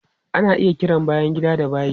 Ana iya kiran bayan gida da bayi.